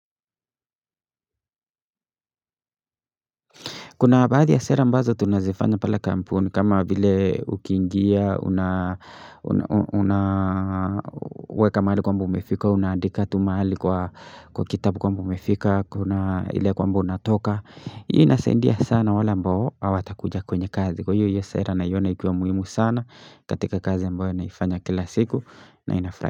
Kuna baadhi ya sera mbazo tunazifanya pale kampuni kama vile ukiingia, una una weka mahali kwamba umefika, unaadika tu mahali kwa kitabu kwamba umefika, kuna ile kwamba unatoka. Hii inasaidia sana wala ambao, hawatakuja kwenye kazi. Kwa hiyo hiyo sera naiona ikiwa muhimu sana katika kazi ambayo naifanya kila siku na inafrai.